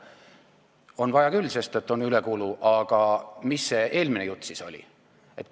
On vaja küll, sest et on ülekulu, aga mis see eelmine jutt siis oli?